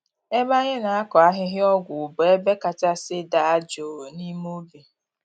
Ebe anyị na-akọ ahịhịa ọgwụ bụ ebe kachasị daa jụụ n’ime ubi.